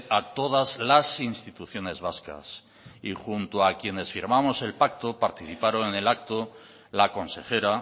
a todas las instituciones vascas y junto a quienes firmamos el pacto participaron en el acto la consejera